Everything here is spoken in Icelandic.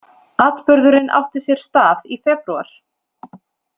Atburðurinn átti sér stað í febrúar